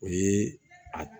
O ye a